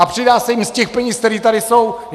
A přidá se jim z těch peněz, které tady jsou.